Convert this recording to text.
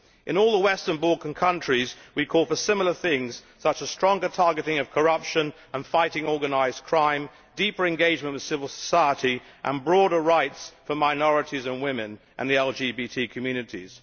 In all the Western Balkan countries we call for similar things, such as stronger targeting of corruption and fighting organised crime, deeper engagement with civil society, and broader rights for minorities and women and the LGBT communities.